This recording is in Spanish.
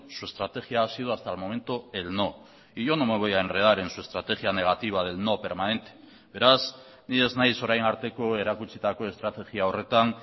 su estrategia ha sido hasta el momento el no y yo no me voy a enredar en su estrategia negativa del no permanente beraz ni ez nahiz orain arteko erakutsitako estrategia horretan